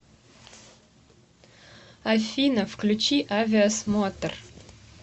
афина включи авиасмотр